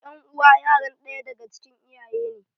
Ƴan uwa yaran ɗaya daga cikin iyaye ne